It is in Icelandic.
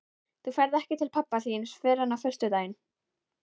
Þú ferð ekki til pabba þíns fyrr en á föstudaginn.